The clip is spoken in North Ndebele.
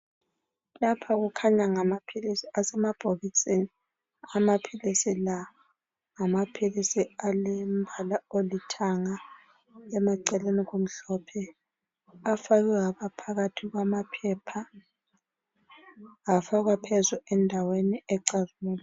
Lapha kukhanya ngamaphilisi asemabhokisini. Amaphilisi la alombala olithanga emaceleni kumhlophe. Afakwe phakathi kwamaphepha phezulu kwendawo ecazimulayo.